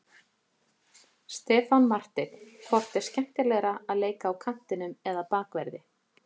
Stefán Marteinn Hvort er skemmtilegra að leika á kantinum eða Bakverði?